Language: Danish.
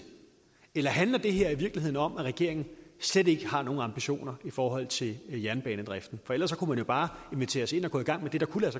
eller handler det her i virkeligheden om at regeringen slet ikke har nogen ambitioner i forhold til jernbanedriften for ellers kunne man jo bare invitere os ind og gå i gang med det der kunne